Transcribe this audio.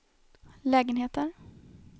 lägenheter